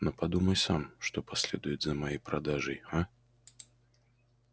но подумай сам что последует за моей продажей а